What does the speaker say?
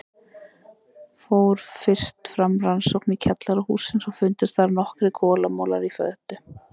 Fór fyrst fram rannsókn í kjallara hússins og fundust þar nokkrir kolamolar í fötu.